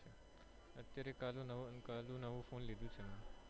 અત્યારે કાલનું નવું ફોન લીધું છે મૈ